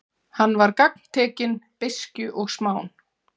Hann var gagntekinn beiskju og smán.